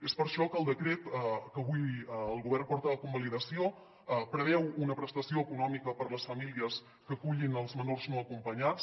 és per això que el decret que avui el govern porta a convalidació preveu una prestació econòmica per a les famílies que acullin els menors no acompanyats